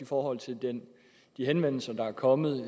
forhold til de henvendelser der er kommet